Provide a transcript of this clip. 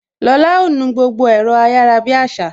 Lola ó nu gbogbo ẹ̀rọ ayarabiasa